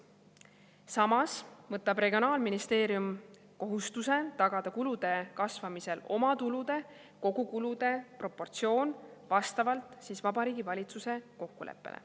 Samas võtab regionaalministeerium kohustuse tagada kulude kasvamisel omatulude ja kogukulude proportsioon vastavalt Vabariigi Valitsuse kokkuleppele.